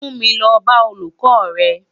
Mú mi lò bá ólúkò rè